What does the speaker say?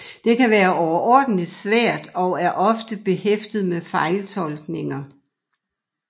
Det kan være overordentligt svært og er ofte behæftet med fejltolkninger